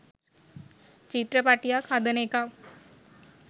චිත්‍රපටියක් හදන එකත්